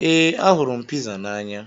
Ee, ahụrụ m piza n'anya.